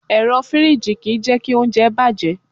Ẹ̀rọ fìríjì kì í jẹ́kí oúnjẹ bàjẹ́.